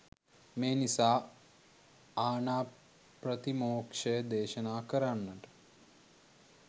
මේ නිසා ආණාප්‍රතිමෝක්ෂය දේශනා කරන්නට